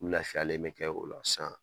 U lafiyalen bɛ kɛ o la sisan